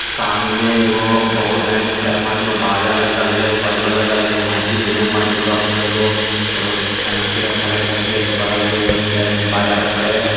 सामने एगो बहु चार पाँचगो बाजा लगल है एगो बाजा लगल है एगो मस्जिद में मजिदवा पर एगो टंकी रखल है टंकी के बगल में एगो बाजा रखल है।